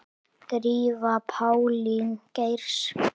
Drífa Pálín Geirs.